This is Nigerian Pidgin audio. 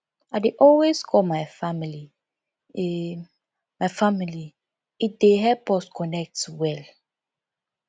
i dey always call my family e my family e dey help us connect well